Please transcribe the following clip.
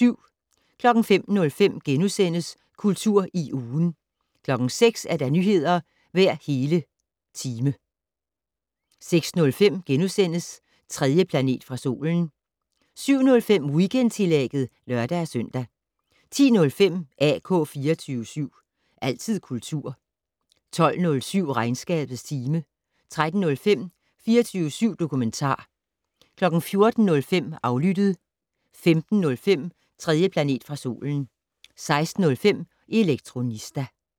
05:05: Kultur i ugen * 06:00: Nyheder hver hele time 06:05: 3. planet fra solen * 07:05: Weekendtillægget (lør-søn) 10:05: AK 24syv. Altid kultur 12:07: Regnskabets time 13:05: 24syv dokumentar 14:05: Aflyttet 15:05: 3. planet fra solen 16:05: Elektronista